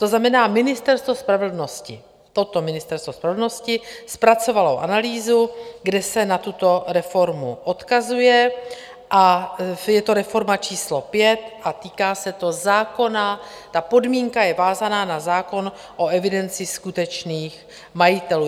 To znamená, Ministerstvo spravedlnosti, toto Ministerstvo spravedlnosti, zpracovalo analýzu, kde se na tuto reformu odkazuje, a je to reforma číslo 5 a týká se to zákona, ta podmínka je vázána na zákon o evidenci skutečných majitelů.